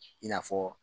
I n'a fɔ